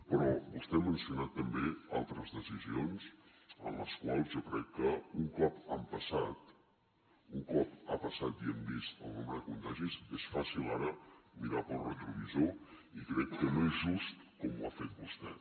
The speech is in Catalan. però vostè ha mencionat també altres decisions en les quals jo crec que un cop han passat un cop ha passat i hem vist el nombre de contagis és fàcil ara mirar pel retrovisor i crec que no és just com ho ha fet vostè